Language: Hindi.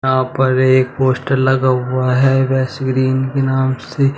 यहां पर एक पोस्टर लगा हुआ है वसु ग्रीन के नाम से।